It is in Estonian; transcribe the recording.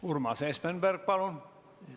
Urmas Espenberg, palun!